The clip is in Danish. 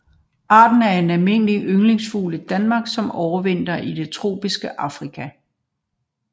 Arten er en almindelig ynglefugl i Danmark som overvintrer i tropisk Afrika